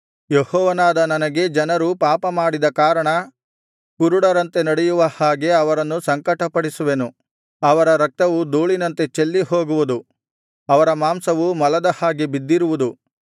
ಯೆಹೋವನಾದ ನನಗೆ ಜನರು ಪಾಪಮಾಡಿದ ಕಾರಣ ಕುರುಡರಂತೆ ನಡೆಯುವ ಹಾಗೆ ಅವರನ್ನು ಸಂಕಟಪಡಿಸುವೆನು ಅವರ ರಕ್ತವು ಧೂಳಿನಂತೆ ಚೆಲ್ಲಿ ಹೋಗುವುದು ಅವರ ಮಾಂಸವು ಮಲದ ಹಾಗೆ ಬಿದ್ದಿರುವುದು